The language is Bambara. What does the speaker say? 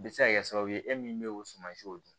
Bɛ se ka kɛ sababu ye e min bɛ o suman siw dun